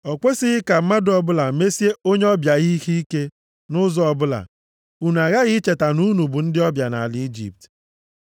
“Ọ kwesighị ka mmadụ ọbụla mesie onye ọbịa ihe ike nʼụzọ ọbụla. Unu aghaghị icheta na unu bụ ndị ọbịa nʼala Ijipt.